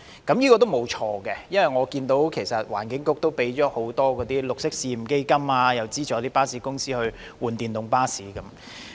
這是正確的，因為據我所見，環境局的綠色運輸試驗基金已批出多項申請，例如資助巴士公司更換電動巴士等。